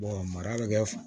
mara bɛ kɛ